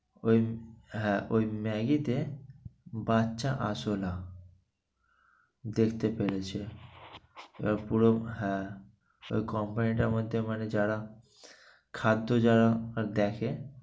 হ্যাঁ ওই maggi তে বাচ্চা আরশোলা দেখতে পেয়েছে এবার পুরো হ্যাঁ company টার মধ্যে মানে যারা খাদ্য যারা দেখে